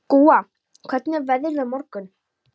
Gúa, hvernig er veðrið á morgun?